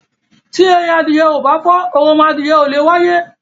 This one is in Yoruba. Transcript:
Tí ẹyin adìyẹ ò bá fọ́, oromọadìyẹ ò leè wáyé.